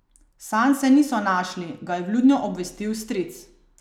Sanse niso našli, ga je vljudno obvestil stric.